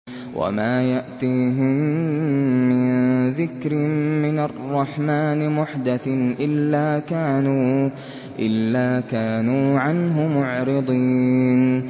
وَمَا يَأْتِيهِم مِّن ذِكْرٍ مِّنَ الرَّحْمَٰنِ مُحْدَثٍ إِلَّا كَانُوا عَنْهُ مُعْرِضِينَ